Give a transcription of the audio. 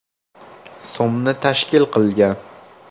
so‘mni tashkil qilgan.